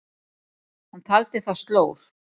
Hann taldi það slór.